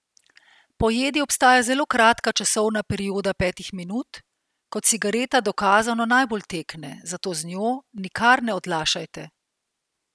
Po jedi obstaja zelo kratka časovna perioda petih minut, ko cigareta dokazano najbolj tekne, zato z njo nikar ne odlašajte.